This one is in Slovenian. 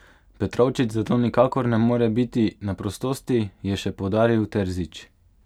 Petrovčič zato nikakor ne more biti na prostosti, je še poudaril Terzič.